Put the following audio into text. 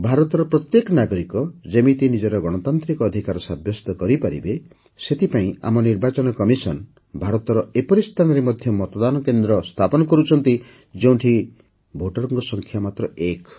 ଭାରତର ପ୍ରତ୍ୟେକ ନାଗରିକ ଯେମିତି ନିଜର ଗଣତାନ୍ତ୍ରିକ ଅଧିକାର ସାବ୍ୟସ୍ତ କରିପାରିବେ ସେଥିପାଇଁ ଆମ ନିର୍ବାଚନ କମିଶନ ଭାରତର ଏପରି ସ୍ଥାନରେ ମଧ୍ୟ ମତଦାନ କେନ୍ଦ୍ର ସ୍ଥାପନ କରୁଛନ୍ତି ଯେଉଁଠିକାର ଭୋଟର ସଂଖ୍ୟା ମାତ୍ର ଏକ